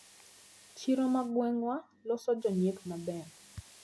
Chiro ma gwengwa loso jonyiepo maber.